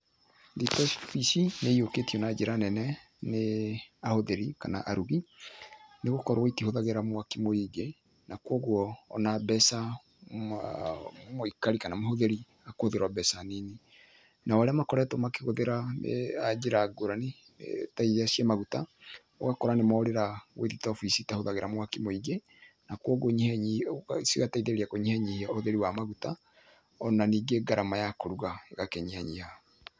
Riko ici nĩ iyũkĩtio na njĩra nene nĩ ahũthĩri kana arugi nĩ gũkorwo itihũthagĩra mwaki mũingĩ na kũguo o na mbeca mũikari kana mũhũthĩri akũhũthĩra o mbeca nini, nao arĩa makoretwo makĩhũthĩra njĩra ngũrani ta iria ciĩ maguta, ũgakora nĩ morera gwĩ thitobu ici citahũthagĩra mwaki mũingĩ, na kũguo cigateithĩrĩria kũnyihanyihia ũhũthĩri wa maguta, o na ningĩ gharama ya kũruga ĩgakĩnyihanyiha